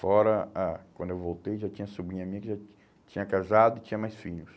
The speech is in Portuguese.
Fora a, quando eu voltei, já tinha sobrinha minha que já tinha casado e tinha mais filhos.